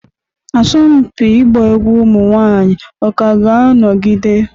Asọmpi ịgba egwu ụmụ nwanyị ka ga-anọgide?